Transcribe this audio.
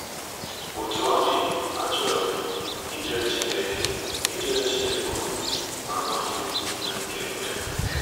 Otú ọ dị, achọrọ m ijere Chineke m ijere Chineke ozi, ma amaghị m ihe m ga-eme.